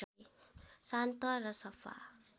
शान्त र सफा